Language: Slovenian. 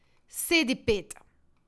Sedi, pet!